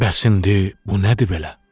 Bəs indi bu nədir belə?